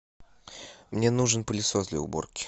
мне нужен пылесос для уборки